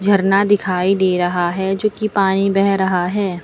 झरना दिखाई दे रहा है जो कि पानी बह रहा है।